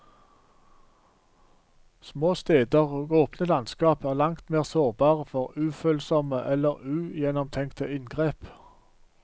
Små steder og åpne landskap er langt mer sårbare for ufølsomme eller ugjennomtenkte inngrep.